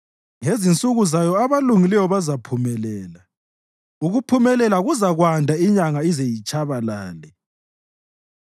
Ngezinsuku zayo abalungileyo bazaphumelela; ukuphumelela kuzakwanda inyanga ize itshabalale.